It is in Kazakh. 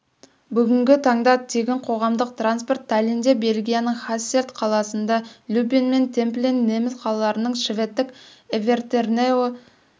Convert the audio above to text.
бүгінгі таңда тегін қоғамдық транспорт таллинде бельгияның хасселт қаласында люббен мен темплин неміс қалаларында шведтік эвертернео